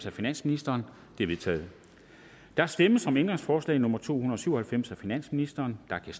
af finansministeren de er vedtaget der stemmes om ændringsforslag nummer to hundrede og syv og halvfems af finansministeren og der